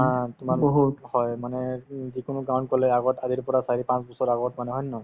ধৰা তোমাৰ বহুত হয় মানে উম যিকোনো গাঁৱত গলে আগত আজিৰ পৰা চাৰি-পাঁচবছৰ আগত মানে হয় নে নহয়